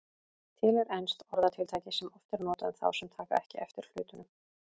Til er enskt orðatiltæki sem oft er notað um þá sem taka ekki eftir hlutunum.